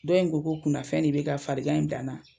Dɔw ko ko kunnafɛn de be ka farigan in bila n na